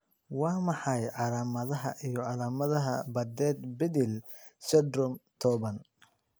Waa maxay calaamadaha iyo calaamadaha Bardet Biedl syndrome tobaan ?